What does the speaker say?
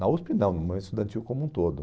Na USP não, mas estudantil como um todo.